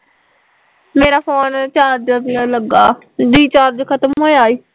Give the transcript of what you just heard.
ਮੇਰਾ phone charge ਤੇ ਲੱਗਾ ਰੀਚਾਰਜ ਖਤਮ ਹੋਇਆ ਈ